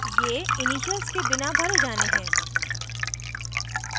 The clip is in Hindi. ये इनिशियल्स के बिना भरे जाने हैं